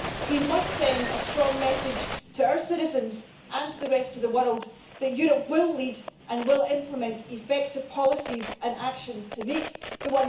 We must send a strong message to our citizens and to the rest of the world that Europe will lead and will implement effective policies and actions to meet the